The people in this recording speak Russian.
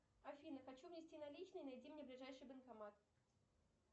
афина хочу внести наличные найди мне ближайший банкомат